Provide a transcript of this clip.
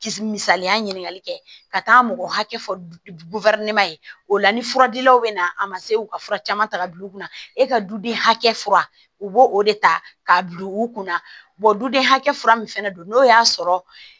Misaliya ɲininkali kɛ ka taa mɔgɔ hakɛ fɔ ye o la ni furadilanw bɛ na a ma se u ka fura caman ta k'a bila u kunna e ka duden hakɛ fura u b'o de ta k'a bila u kunna duden hakɛ fura min fɛnɛ don n'o y'a sɔrɔ